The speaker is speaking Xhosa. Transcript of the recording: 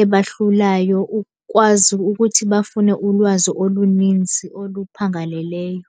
ebahlulayo, ukwazi ukuthi bafune ulwazi oluninzi oluphangaleleyo.